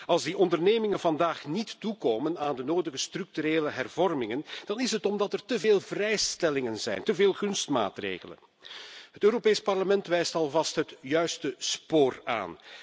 Als die ondernemingen vandaag niet toekomen aan de nodige structurele hervormingen, dan is het omdat er te veel vrijstellingen en gunstmaatregelen zijn. Het Europees Parlement wijst alvast het juiste spoor aan.